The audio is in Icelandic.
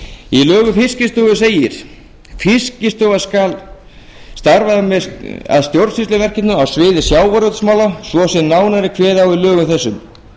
í lögum um fiskistofu segir fiskistofa skal starfa að stjórnsýsluverkefnum á sviði sjávarútvegsmála svo sem nánar er kveðið á um í lögum þessum